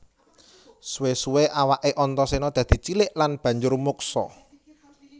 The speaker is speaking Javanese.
Suwé suwé awaké Antaséna dadi cilik lan banjur muksa